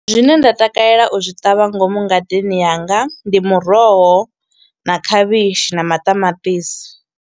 Zwine nda takalela u zwi ṱavha ngomu ngadeni yanga, ndi muroho na khavhishi na maṱamaṱisi.